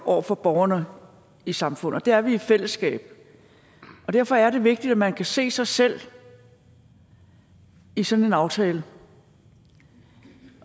over for borgerne i samfundet det er vi i fællesskab derfor er det vigtigt at man kan se sig selv i sådan en aftale